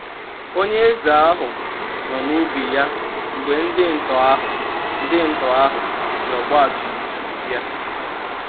onyeeze ahụ nọ na ubi ya mgbe ndị ntọ ahụ ndị ntọ ahụ jị ọgbatumtum bịa.